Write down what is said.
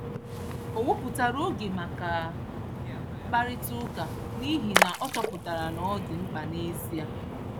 Ọ wepụtara oge maka mkparịta ụka n’ihi na ọ chọpụtara na ọ dị mkpa n’ezie.